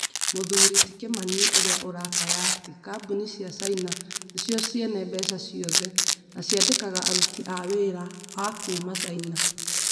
Mũthuri ti Kĩmani, ũrĩa ũrakaya atĩ kambuni cia Caina nĩcio ciene mbeca ciothe na ciandĩkaga aruti a wĩra a kuuma Caina.